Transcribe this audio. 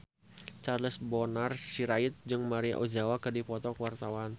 Charles Bonar Sirait jeung Maria Ozawa keur dipoto ku wartawan